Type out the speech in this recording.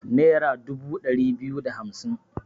Nera dubu ɗari biyu da hamsin